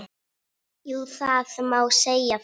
Jú, það má segja það.